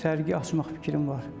Sərgi açmaq fikrim var.